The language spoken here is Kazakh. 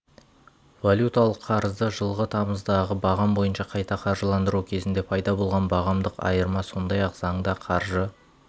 валюталық қарызды жылғы тамыздағы бағам бойынша қайта қаржыландыру кезінде пайда болған бағамдық айырма сондай-ақ заңда қаржы